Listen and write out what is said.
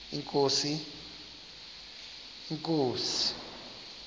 inkosi